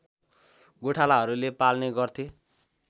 गोठालाहरूले पाल्ने गर्थे